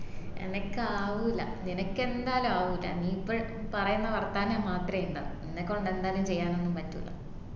എനക്ക് ആവൂല എനക്ക് എന്തായാലും ആവൂല നീ ഇപ്പൊ പറയുന്ന വാർത്താനാം മാത്രേ ഇണ്ടാവു നിനക്കൊണ്ട് എന്തായാലും ചെയ്യാനൊന്നും പറ്റൂല